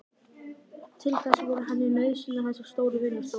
Til þess voru henni nauðsynlegar þessar stóru vinnustofur.